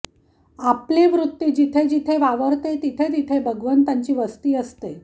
आपली वृत्ती जिथे जिथे वावरते तिथे तिथे भगवंताची वस्ती असते